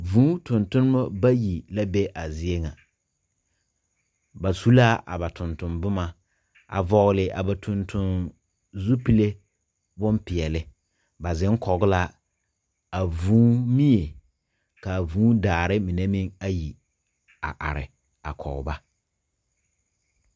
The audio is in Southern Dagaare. Vũũ tontonema bayi la be a zie ŋa, ba su la a ba tontomboma, a vɔgele a ba tontonzupile bompeɛle. Ba zeŋ kɔge la a vũũ mie, ka a vũũ dare mine meŋ a are kɔge ba.